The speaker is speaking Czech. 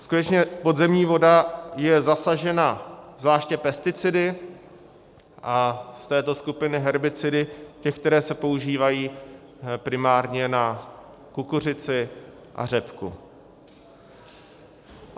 Skutečně podzemní voda je zasažena zvláště pesticidy a z této skupiny herbicidy těch, které se používají primárně na kukuřici a řepku.